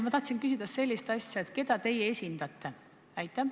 Ma tahangi küsida sellist asja: keda teie esindate?